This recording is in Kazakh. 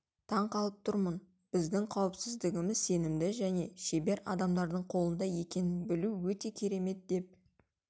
таң қалып тұрмын біздің қауіпсіздігіміз сенімді және шебер адамдардың қолында екенін білу өте керемет деп